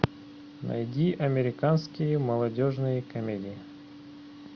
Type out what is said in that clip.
найди американские молодежные комедии